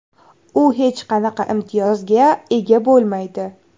U hech qanday imtiyozga ega bo‘lmaydi.